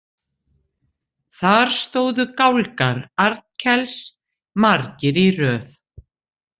Þar stóðu gálgar Arnkels margir í röð.